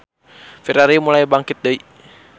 Ferrari mulai bangkit deui.